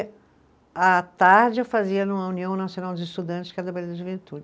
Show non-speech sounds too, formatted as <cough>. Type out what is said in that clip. À tarde, eu fazia numa União Nacional dos Estudantes, que era <unintelligible>